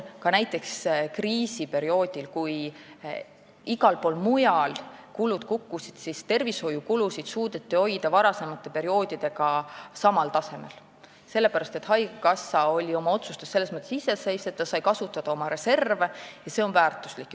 Ka näiteks kriisiperioodil, kui igal pool mujal kulud kukkusid, suudeti tervishoiukulusid hoida varasemate perioodidega samal tasemel, sest haigekassa oli oma otsustes selles mõttes iseseisev, ta sai kasutada oma reserve, ja see on väärtuslik.